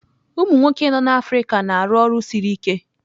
Umụ nwoke nọ n'Africa na-arụ ọrụ siri ike.